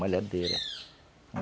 Malhadeira. (cântico de passarinho ao fundo)